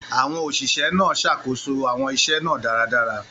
Àwọn òṣìṣẹ́ náà ṣàkóso àwọn iṣẹ́ náà dáradára.